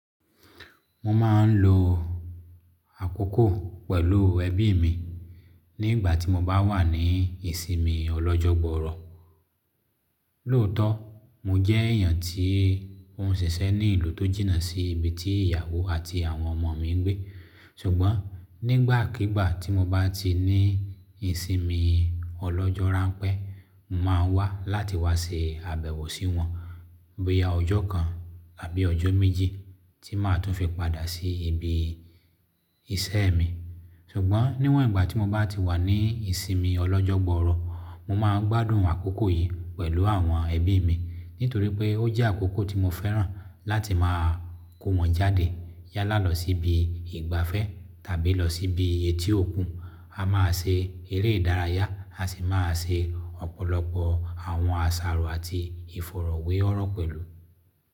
Mo máa ń lo àkókò pẹ̀lú ẹbí mi ní ìgbà tí mo bá wà ní ìsinmi ọlọ́jọ́ gboọ́rọ̀. Lóòótọ́, mo jẹ́ èèyàn tí òun ṣiṣẹ́ ní ìlú tó jìnà sí ibi tí ìyàwó àti àwọn ọmọ mi ń gbé. Ṣùgbọ́n nígbàkígbà tí mo bá ti ní ìsinmi ọlọ́jọ́ ráńpẹ́, mo máa wá láti wá ṣe àbẹ̀wò sí wọn, bóya ọjọ́ kan àbí ọjọ́ méjì tí màá tún fi padà sí ibi iṣẹ́ mi. Ṣùgbọ́n níwọ̀n ìgbà tí mo bá ti wà ní ìsinmi ọlọ́jọ́ gboọ́rọ̀, mo máa gbádùn àkókò yìí pẹ̀lú àwọn ẹbí mi nítorí pé ó jẹ́ àkókò tí mo fẹ́ràn láti máa kó wọn jáde yá lálọ̀ sí ibi ìgbafẹ́ tàbí lọ sí ibi etí ókùn. A máa ṣe eré ìdárayá, a sì máa ṣe ọ̀pọ̀lọpọ̀ àwọn àṣààrò àti ìfọ̀rọ̀wé ọ̀rọ̀ pẹ̀lú.